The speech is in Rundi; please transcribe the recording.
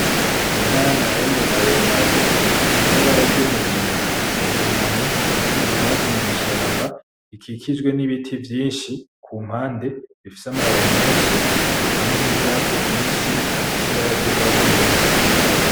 Inka Yamahambe maremare ifise ibara ryumugina irunamye iriko irya ubwatsi mw'ishamba ikijijwe n'ibiti vyinshi kumpande bifise amababi menshi hamwe n'ivyatsi vyinshi bifise ibara ryugwatsi rubisi.